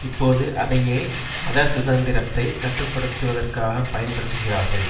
இப்போது அதையே மத சுதந்திரத்தை கட்டுப்படுத்துவதற்காகப் பயன்படுத்துகிறார்கள்